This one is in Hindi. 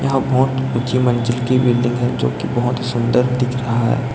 यहां बहुत ऊंची मंजिल की बिल्डिंग है जो की बहुत ही सुंदर दिख रहा है।